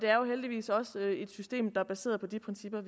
er jo heldigvis også et system der er baseret på de principper